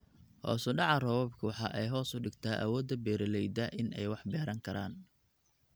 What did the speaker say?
Hoos u dhaca roobabku waxa ay hoos u dhigtaa awoodda beeralayda in ay wax beeran karaan.